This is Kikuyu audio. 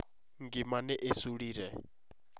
Ngima nĩ ĩcũrire